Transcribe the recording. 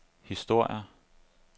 historier